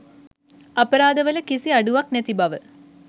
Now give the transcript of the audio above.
අපරාධවල කිසි අඩුවක් නැති බව